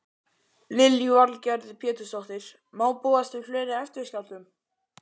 Lillý Valgerður Pétursdóttir: Má búast við fleiri eftirskjálftum?